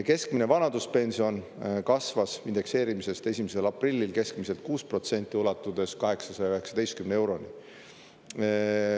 Keskmine vanaduspension kasvas indekseerimisest 1. aprillil keskmiselt 6%, ulatudes 819 euroni.